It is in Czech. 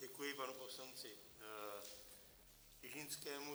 Děkuji panu poslanci Čižinskému.